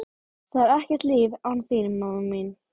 Einari Sigurðssyni útgerðarmanni, Þórarni Guðmundssyni fiðluleikara